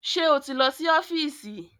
Ṣé o ti lọ sí ọ́fíìsì?